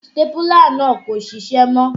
Sítápúlà náà kò ṣiṣẹ́ mọ́